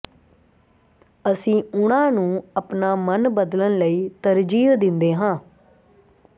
ਅਸੀਂ ਉਨ੍ਹਾਂ ਨੂੰ ਆਪਣਾ ਮਨ ਬਦਲਣ ਲਈ ਤਰਜੀਹ ਦਿੰਦੇ ਹਾਂ